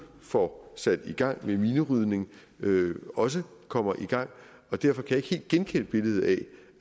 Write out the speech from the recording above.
får sat i gang med minerydning også kommer i gang derfor kan jeg ikke helt genkende billedet af